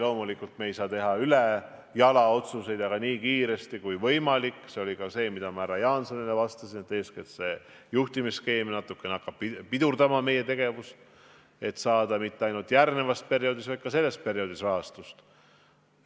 Loomulikult ei saa me teha ülejala otsuseid, aga tasub tegutseda nii kiiresti kui võimalik – see oli ka see, mida ma härra Jaansonile vastasin, et eeskätt juhtimisskeem hakkab meie tegevust natukene pidurdama –, et saada mitte ainult järgmisel perioodil, vaid ka sel perioodil rahastust.